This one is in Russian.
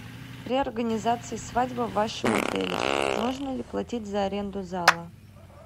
при организации свадьбы в вашем отеле нужно ли платить за аренду зала